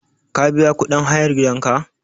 Ka biya kuɗin hayar gidanka?